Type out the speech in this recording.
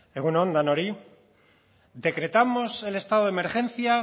egun on denoi decretamos el estado de emergencia